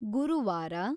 ಗುರುವಾರ